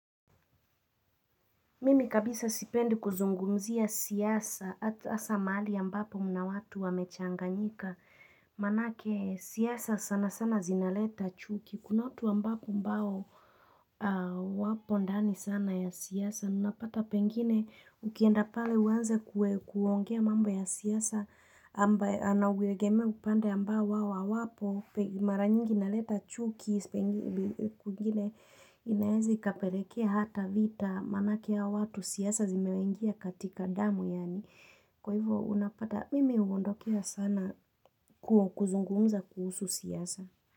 Mimi kabisa sipendi kuzungumzia siasa hasa mali ambapo mna watu wamechanganyika manake siasa sana sana zinaleta chuki kuna watu ambapo mbao wapo ndani sana ya siasa, unapata pengine ukienda pale uanze kuongea mambo ya siasa ambaye anawegeme upande amba wao awapo, mara nyingi na uleta chuki Inaezi kapelekea hata vita manakea watu siasa zimewangia katika damu yani Kwa hivyo unapata mimi uondokea sana kuzungumza kuhusu siasa.